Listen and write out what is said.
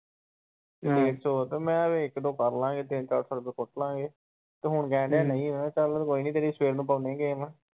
ਡੇਢ ਸੋ ਮੈਂ ਕਿਹਾ ਇੱਕ ਦੋ ਕਰਲਾਗੇ ਤਿੰਨ-ਚਾਰ ਸੋ ਰਪੁਇਆ ਕੁੱਟਲਾਗੇਂ ਤੇ ਹੁਣ ਕਹਿਣ ਦਿਆ ਨਹੀਂ ਮੈਂ ਕਿਹਾ ਚੱਲ ਕੋਈ ਨੀ ਤੇਰੀ ਸਵੇਰ ਨੂੰ ਪਾਉਂਦੇ game